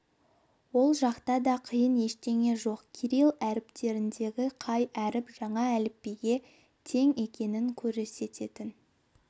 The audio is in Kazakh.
ол жақта да қиын ештеңе жоқ кирилл әліпбиіндегі қай әріп жаңа әліпбиге тең екенін көрсететін